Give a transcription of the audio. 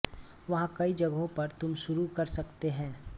वहाँ कई जगहों पर तुम शुरू कर सकते हैं